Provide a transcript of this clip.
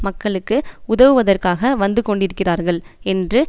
மக்களுக்கு உதவுவதற்காக வந்துகொண்டிருக்கிறார்கள் என்று